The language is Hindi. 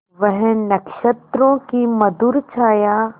वह नक्षत्रों की मधुर छाया